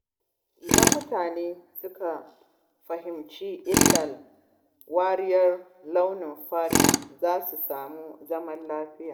Idan mutane suka fahimci illar wariyar launin fata, za a samu zaman lafiya.